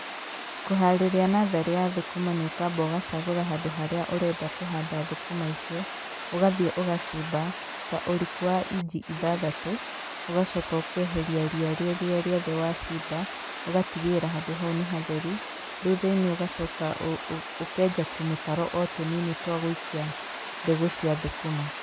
Kũharĩria natharĩ ya thũkũma nĩ ũkamba ũgacagũra handũ harĩa ũrenda kũhanda thũkũma icio, ũgathiĩ ũgacimba ta ũriku wa inji ithathatũ, ũgacoka ũkeheria ria rĩrĩa rĩothe wacimba, ũgatigĩrĩra handũ hau nĩ hatheru, thutha-inĩ ũgacoka ũkenja tũmitaro o tũnini twa gũikia mbegũ cia thũkũma.